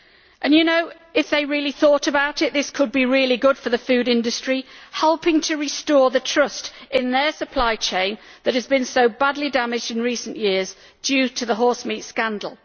And you know, if they really thought about it, this could be really good for the food industry, helping to restore the trust in their supply chain that has been so badly damaged in recent years due to the horsemeat scandal.